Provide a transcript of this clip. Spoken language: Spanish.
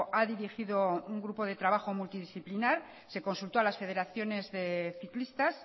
ha dirigido un grupo de trabajo multidisciplinar se consultó a las federaciones de ciclistas